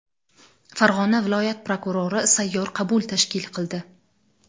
Farg‘ona viloyat prokurori sayyor qabul tashkil qildi.